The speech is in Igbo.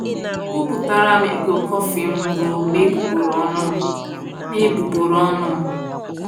Ebuputara m iko kọfị m ruo n’egbugboro ọnụ m. n’egbugboro ọnụ m.